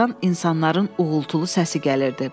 Bayırdan insanların uğultulu səsi gəlirdi.